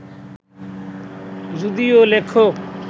যদিও লেখক